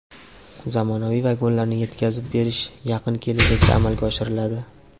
Zamonaviy vagonlarni yetkazib berish yaqin kelajakda amalga oshiriladi.